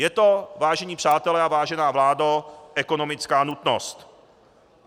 Je to, vážení přátelé a vážená vládo, ekonomická nutnost.